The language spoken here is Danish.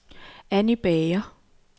Anny Bager